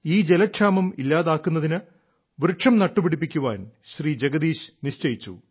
ഈ ജലക്ഷാമം ഇല്ലാതാക്കുന്നതിന് വൃക്ഷം നട്ടുപിടിപ്പിക്കാൻ ശ്രീ ജഗദീശ് നിശ്ചയിച്ചു